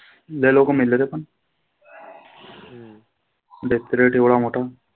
लै लोक मेले रे पण. death rate एवढा मोठा.